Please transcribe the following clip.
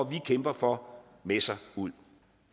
vi kæmper for med sig ud